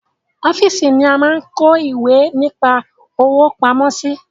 Ọ́fíìsì ni a máa ń kọ́ ìwé nípa òwò pamọ́ sí